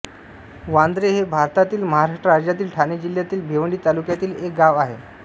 वांद्रे हे भारतातील महाराष्ट्र राज्यातील ठाणे जिल्ह्यातील भिवंडी तालुक्यातील एक गाव आहे